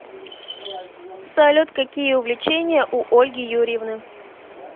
салют какие увлечения у ольги юрьевны